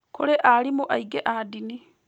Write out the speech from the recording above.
Kũrĩ aarimũ aingĩ a ndini